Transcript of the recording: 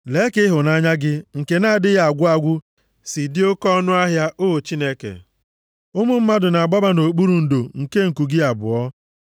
Lee ka ịhụnanya gị nke na-adịghị agwụ agwụ si dị oke ọnụahịa, O Chineke! Ụmụ mmadụ na-agbaba nʼokpuru ndo nke nku gị abụọ.